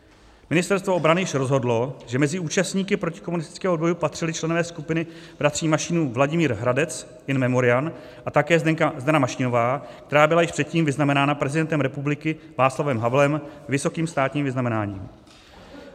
Ministerstvo obrany již rozhodlo, že mezi účastníky protikomunistického odboje patřili členové skupiny bratří Mašínů Vladimír Hradec in memoriam a také Zdena Mašínová, která byla již předtím vyznamenána prezidentem republiky Václavem Havlem vysokým státním vyznamenáním.